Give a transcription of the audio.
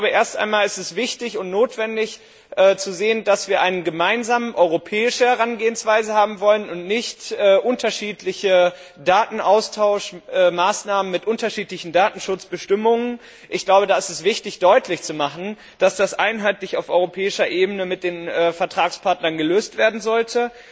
Erst einmal ist es wichtig und notwendig zu sehen, dass wir eine gemeinsame europäische Herangehensweise haben wollen und nicht unterschiedliche Datenaustauschmaßnahmen mit unterschiedlichen Datenschutzbestimmungen. Daher ist es wichtig, deutlich zu machen, dass das einheitlich auf europäischer Ebene mit den Vertragspartnern gelöst werden sollte.